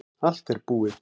Allt er búið